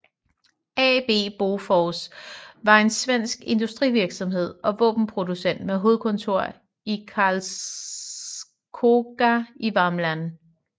AB Bofors var en svensk industrivirksomhed og våbenproducent med hovedkontor i Karlskoga i Värmland